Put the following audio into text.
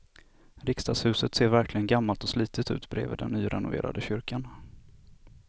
Riksdagshuset ser verkligen gammalt och slitet ut bredvid den nyrenoverade kyrkan.